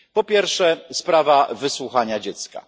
Po pierwsze sprawa wysłuchania dziecka.